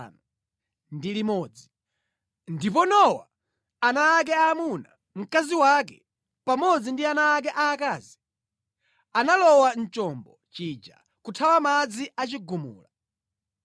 Ndipo Nowa, ana ake aamuna, mkazi wake, pamodzi ndi ana ake aakazi analowa mu chombo chija kuthawa madzi a chigumula.